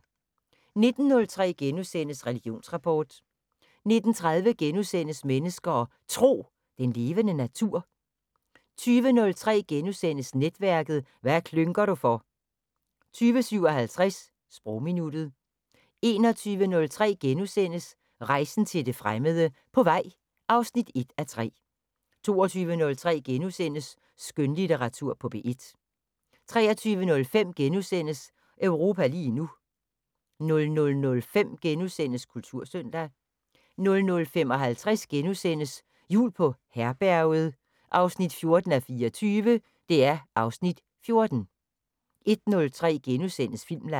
19:03: Religionsrapport * 19:30: Mennesker og Tro: Den levende natur * 20:03: Netværket: Hvad klynker du for? * 20:57: Sprogminuttet 21:03: Rejsen til det fremmede: På vej (1:3)* 22:03: Skønlitteratur på P1 * 23:05: Europa lige nu * 00:05: Kultursøndag * 00:55: Jul på Herberget 14:24 (Afs. 14)* 01:03: Filmland *